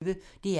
DR P1